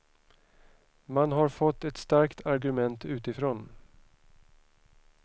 Man har fått ett starkt argument utifrån.